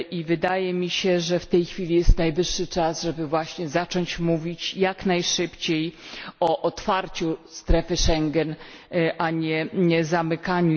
Wydaje mi się, że w tej chwili jest najwyższy czas, żeby właśnie zacząć mówić jak najszybciej o otwarciu strefy Schengen, a nie o jej zamykaniu.